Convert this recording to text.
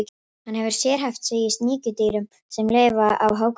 Hann hefur sérhæft sig í sníkjudýrum sem lifa á hákörlum.